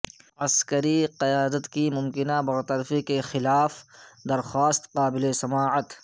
عسکری قیادت کی ممکنہ برطرفی کے خلاف درخواست قابل سماعت